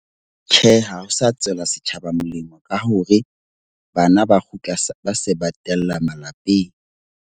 Tjhe, ha ho sa tswela setjhaba molemo ka hore bana ba kgutla ba se ba tella malapeng.